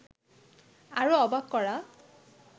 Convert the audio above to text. আরো অবাক করা